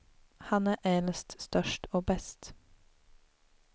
Han är äldst, störst och bäst.